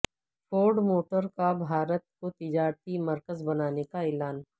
Ford motor کا بھارت کو تجارتی مرکز بنانے کا اعلان